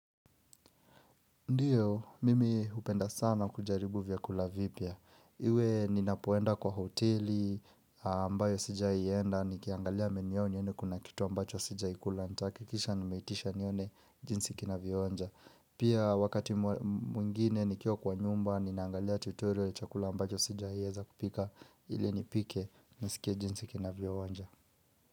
Ndiyo, mimi upenda sana kujaribu vyakula vipya. Iwe ninapoenda kwa hoteli, ambayo sijaienda, nikiangalia menu yao nione kuna kitu ambacho sijai kula. Ntahakikisha nimeitisha nione jinsi kina vyoonja. Pia wakati mwingine nikiwa kwa nyumba, ninaangalia tutorial ya chakula ambacho sija ieza kupika, ili nipike, nisikia jinsi kina vionja.